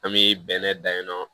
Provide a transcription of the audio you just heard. An bɛ bɛnɛ dan ye nɔ